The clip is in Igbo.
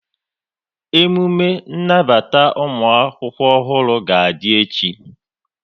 Emume nnabata ụmụakwụkwọ ọhụrụ ga-adị echi